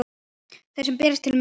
Þeir berast til betri heima.